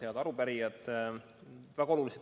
Head arupärijad!